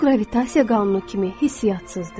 O, qravitasiya qanunu kimi hissiyatsızdır.